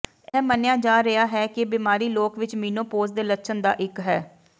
ਇਹ ਮੰਨਿਆ ਜਾ ਰਿਹਾ ਹੈ ਕਿ ਬਿਮਾਰੀ ਲੋਕ ਵਿਚ ਮੀਨੋਪੌਜ਼ ਦੇ ਲੱਛਣ ਦਾ ਇੱਕ ਹੈ